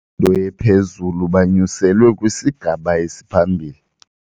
mfundo ephezulu banyuselwe kwisigaba esiphambili.